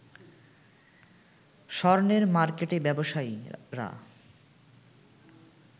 স্বর্ণের মার্কেটে ব্যবসায়ীরা